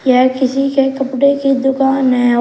यह किसी के कपड़े की दुकान है और--